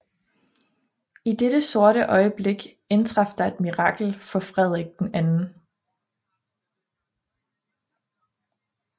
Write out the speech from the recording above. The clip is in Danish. I dette sorte øjeblik indtraf der et mirakel for Frederik 2